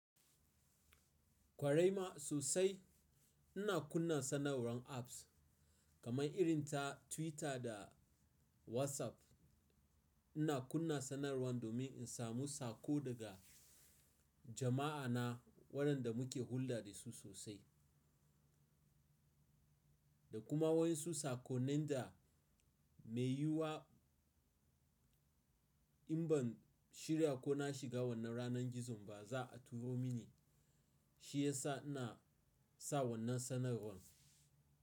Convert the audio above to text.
Kwarai ma sosai ina kunna sadarwar apps kamar irin ta Twitter da WhatsApp. Ina kunna sanarwar domin in samu sako daga jama'ana waɗanda muke hulɗa da su sosai, da kuma wayansu sakonnin da mai yiwa in ban shirya ko na shiga wannan ranar gizon ba za a turo mini. Shi ya sa ina sa wannan sanarwar.